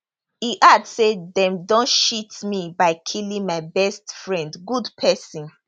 e add say dem don cheat me by killing my best friend good person